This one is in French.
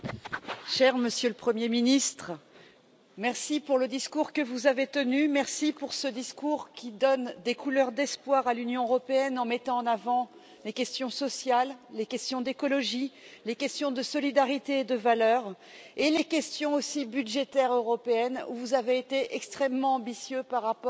Monsieur le Président, cher Monsieur le Premier ministre, merci pour le discours que vous avez tenu. Merci pour ce discours, qui donne des couleurs d'espoir à l'Union européenne en mettant en avant les questions sociales, les questions d'écologie, les questions de solidarité et de valeurs, ainsi que les questions budgétaires européennes où vous avez été extrêmement ambitieux eu égard